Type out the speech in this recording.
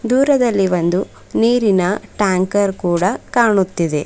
ದೂರದಲ್ಲಿ ಒಂದು ನೀರಿನ ಟ್ಯಾಂಕರ್ ಕೂಡ ಕಾಣುತ್ತಿದೆ.